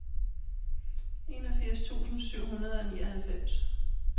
enogfirs tusind syv hundrede og nioghalvfems